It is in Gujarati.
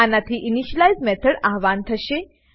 આનાથી ઇનિશિયલાઇઝ મેથડ આવ્હાન થશે